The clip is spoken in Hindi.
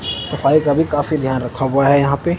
सफाई का भी काफी ध्यान रखा हुआ है यहां पे--